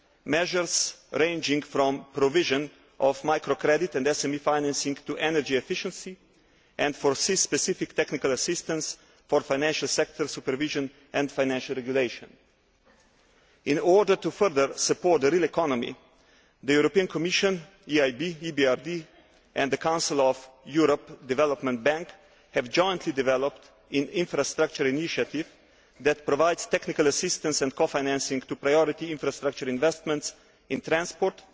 measures ranging from the provision of micro credit and SME financing to energy efficiency and specific technical assistance for financial sector supervision and financial regulation. In order to further support the real economy, the Commission, the EIB, the EBRD and the Council of Europe Development Bank have jointly developed an infrastructure initiative that provides technical assistance and cofinancing to priority infrastructure investments in transport,